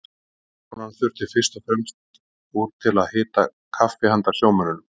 Ráðskonan þurfti fyrst fram úr til að hita kaffi handa sjómönnunum.